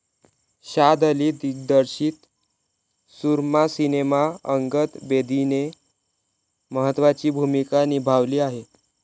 शाद अली दिग्दर्शित सूरमा सिनेमा अंगद बेदीने महत्त्वाची भूमिका निभावली आहे.